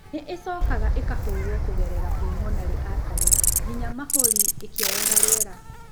Nĩ ĩcokaga ĩkahũrwo kũgerera pulmonary artety nginya mahũri, ĩkĩoyaga rĩera.